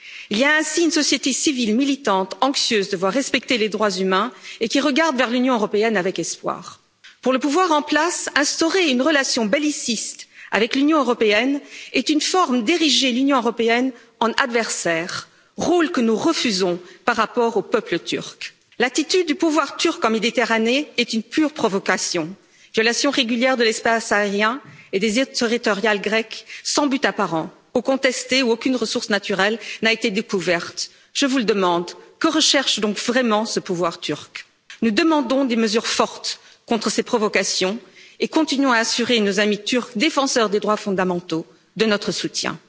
Il existe ainsi une société civile militante, désireuse de voir les droits humains respectés, qui regarde vers l'Union européenne avec espoir. Pour le pouvoir en place, instaurer une relation belliciste avec l'Union européenne est une manière d'ériger celle ci en adversaire, rôle que nous refusons à l'égard du peuple turc. L'attitude du pouvoir turc en Méditerranée est une pure provocation violation régulière de l'espace aérien et des eaux territoriales grecques sans but apparent, eaux contestées où aucune ressource naturelle n'a été découverte. Je vous le demande que recherche donc vraiment ce pouvoir turc? Nous demandons des mesures fortes contre ces provocations et continuons à assurer nos amis turcs, défenseurs des droits fondamentaux, de notre soutien.